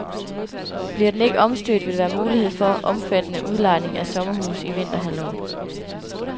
Bliver den ikke omstødt, vil der være mulighed for omfattende udlejning af sommerhuse i vinterhalvåret.